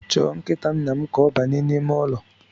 Chọọ nkita nnam ka ọ banye n’ime ụlọ